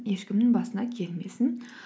ешкімнің басына келмесін